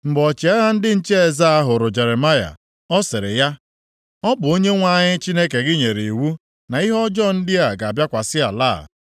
Mgbe ọchịagha ndị nche eze a hụrụ Jeremaya, ọ sịrị ya, “Ọ bụ Onyenwe anyị Chineke gị nyere iwu na ihe ọjọọ ndị a ga-abịakwasị ala a.